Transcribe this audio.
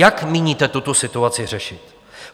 Jak míníte tuto situaci řešit?